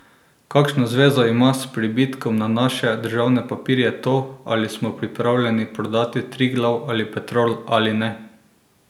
Kakšno zvezo ima s pribitkom na naše državne papirje to, ali smo pripravljeni prodati Triglav ali Petrol ali ne?